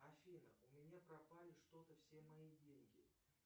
афина у меня пропали что то все мои деньги